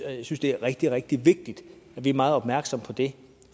og jeg synes det er rigtig rigtig vigtigt at vi er meget opmærksomme på det